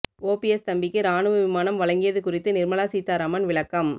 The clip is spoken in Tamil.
ஓபிஎஸ் தம்பிக்கு ராணுவ விமானம் வழங்கியது குறித்து நிர்மலா சீதாராமன் விளக்கம்